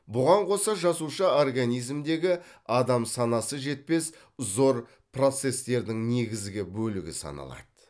бұған қоса жасуша организмдегі адам санасы жетпес зор процесстердің негізгі бөлігі саналады